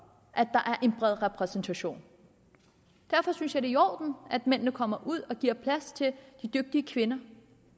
at der skal en bred repræsentation derfor synes jeg det er i orden at mændene kommer ud og giver plads til de dygtige kvinder